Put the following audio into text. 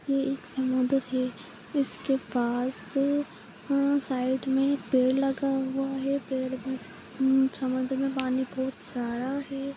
यह एक समुन्दर है इसके पास हम्म साइड में पेड़ लगा हुआ है पेड़ भी उम्म समुन्दर में पानी बहुत सारा है।